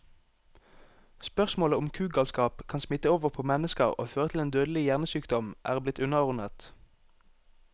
Spørsmålet om kugalskap kan smitte over på mennesker og føre til en dødelig hjernesykdom, er blitt underordnet.